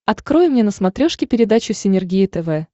открой мне на смотрешке передачу синергия тв